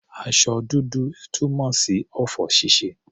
Aṣọ dúdú túmọ̀ sí ọ̀fọ̀ ṣíṣe.